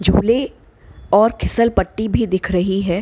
झूले और फिसल पट्टी भी दिख रही है।